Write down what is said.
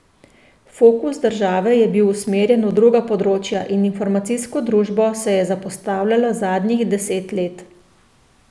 Fokus države je bil usmerjen v druga področja in informacijsko družbo se je zapostavljalo zadnjih deset let.